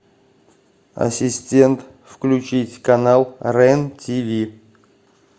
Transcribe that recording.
ассистент включить канал рен тиви